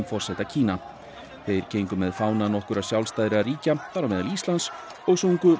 forseta Kína þeir gengu með fána nokkurra sjálfstæðra ríkja þar á meðal Íslands og sungu